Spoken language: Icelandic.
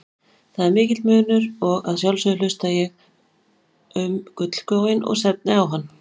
Það er mikill munur og að sjálfsögðu hugsa ég um gullskóinn og stefni á hann.